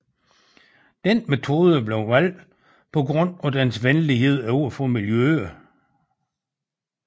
Denne metode blev valgt på grund af dens venlighed over for miljøet